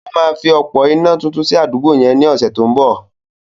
Ó máa fi òpó iná tuntun sí àdúgbò yẹn ní ọ̀sẹ̀ tó ń bọ̀.